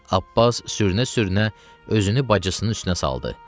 Abbas sürünə-sürünə özünü bacısının üstünə saldı.